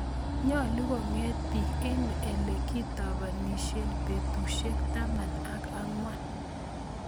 Nyalu konget biik eng ele kitabaanisien betusoek taman ak ang'wan